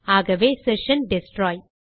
ஆகவே session destroy